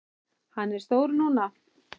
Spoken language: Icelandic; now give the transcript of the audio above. Hann er stór núna.